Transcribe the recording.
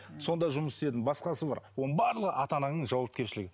цон да жұмыс істедің басқасы бар оның барлығы ата анаңның жауапкершілігі